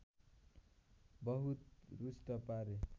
बहुत रुष्ट पारे